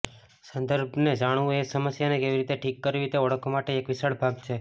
સંદર્ભને જાણવું એ સમસ્યાને કેવી રીતે ઠીક કરવી તે ઓળખવા માટે એક વિશાળ ભાગ છે